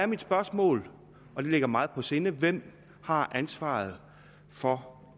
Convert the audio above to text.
mit spørgsmål og det ligger mig meget på sinde hvem har ansvaret for